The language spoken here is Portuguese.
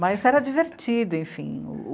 Mas era divertido, enfim,